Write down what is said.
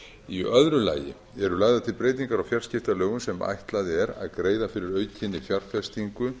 í öðru lagi eru lagðar til breytingar á fjarskiptalögum sem ætla er að greiða fyrir aukinni fjárfestingu